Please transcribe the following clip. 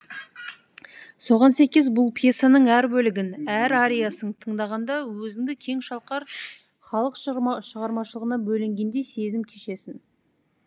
соған сәйкес бұл пьесаның әр бөлігін әр ариясын тыңдағанда өзіңді кең шалқар халық шығармашылығына бөленгендей сезім кешесің